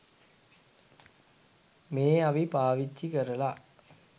මේ අවි පාවිච්චි කරලා.